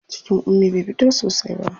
Cikin Ummi bai fito sosai ba.